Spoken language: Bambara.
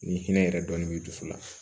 Ni hinɛ yɛrɛ dɔɔnin b'i dusu la